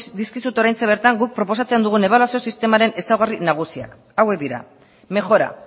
dizkizut oraintxe bertan guk proposatzen dugun ebaluazio sistemaren ezaugarri nagusiak hauek dira mejora